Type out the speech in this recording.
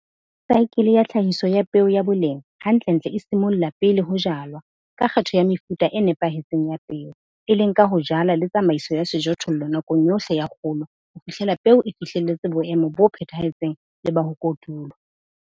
Saekele ya tlhahiso ya peo ya boleng hantlentle e simolla pele ho jalwa ka kgetho ya mefuta e nepahetseng ya peo, e leng ka ho jala le tsamaiso ya sejothollo nakong yohle ya kgolo ho fihlela peo e fihlelletse boemo bo phethahetseng le ba ho kotulwa.